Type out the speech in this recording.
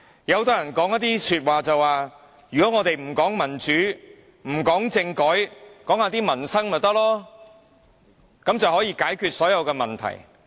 很多人說，我們不談民主，不談政改，只談民生便可，這樣便能解決所有問題。